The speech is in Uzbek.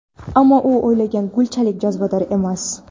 ammo u o‘ylagan gulchalik jozibador emas.